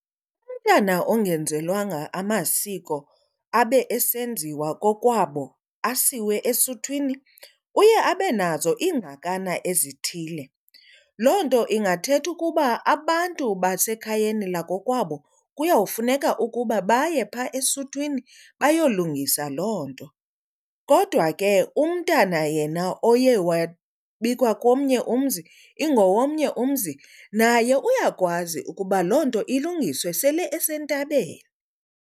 Umntana ongenzelwanga amasiko abe esenziwa kokwabo asiwe esuthwini uye abe nazo ingxakana ezithile. Loo nto ingathetha ukuba abantu basekhayeni lakokwabo kuyawufuneka ukuba baye phaa esuthwini bayolungisa loo nto. Kodwa ke umntana yena oye wabikwa komnye umzi ingowomnye umzi naye uyakwazi ukuba loo nto ilungiswe sele esentabeni.